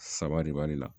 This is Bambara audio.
Saba de b'ale la